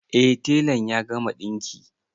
Eh telan ya gama ɗinki